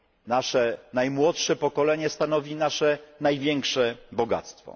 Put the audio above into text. Nasze najmłodsze pokolenie stanowi nasze największe bogactwo.